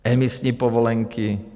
Emisní povolenky?